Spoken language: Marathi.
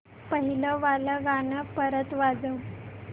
पहिलं वालं गाणं परत वाजव